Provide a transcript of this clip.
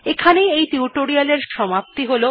এখানেই এই টিউটোরিয়াল্ এর সমাপ্তি হল